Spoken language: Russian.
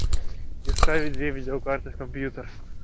и ставить две видеокарты в компьютер